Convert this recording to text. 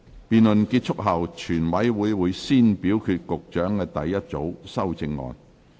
辯論結束後，全委會會先表決局長的第一組修正案。